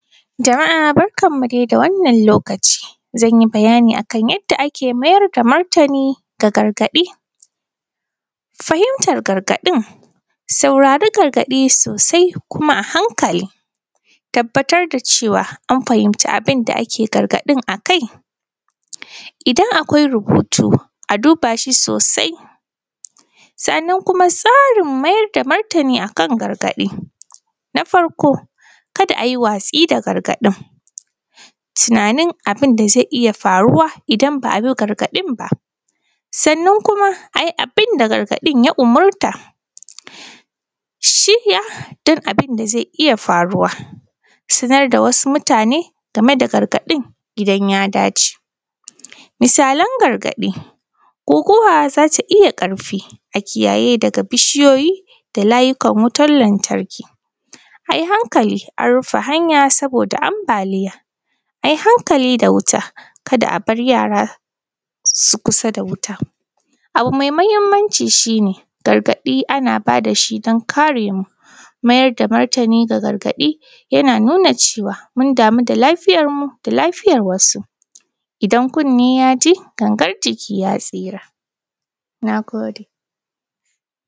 Jama’a barkanmu dai da wannan lokaci zan yi bayani akan yadda ake mayar da martani ga gargaɗi, fahimtan gargaɗin, saurari gargaɗi soosai kuma a hankali, tabbatar da cewa an fahimci abin da ake gargaɗin akai idan akwai rubutu a dubaa shi soosai sannan kuma tsarin tsarin mayar da martani akan gargaɗi, na farko ka da a yi watsi da gargaɗin, tunanin abin da zai iya faruwa idan ba a bi gargaɗin baa, sannan kuma a yi abin da gargaɗin ya umarta, shirya duk abin da zai iya faruwa sanar da wasu mutaane game da gargaɗin idan ya dace. Misalan gargaɗi guguwa za ta iya ƙarfi a kiyaye daga bishiyoyi da laayukan wutan lantarki a yi hankali a rufe hanya sabooda ambaaliya a yi hankali da wuta kada a bar yaara su yi kusa da wuta abu mai muhimmanci shi ne gargaɗi ana baa da shi don karemu mayar da martani ga gagaɗi yana nuna cewa mun damu da lafiyarmu da lafiyar wasu idan kunne ya ji gangar jiki ya tsira, nagode.